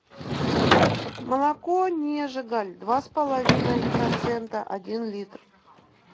молоко нежеголь два с половиной процента один литр